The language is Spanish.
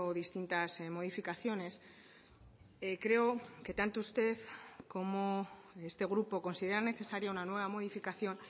distintas modificaciones creo que tanto usted como este grupo considera necesaria una nueva modificación